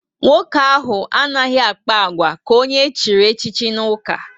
Nwoke ahụ anaghị akpa agwa ka onye echiri echi n'uka